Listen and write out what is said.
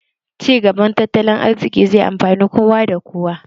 Ci gaban tattalin arziki zai amfani kowa da kowa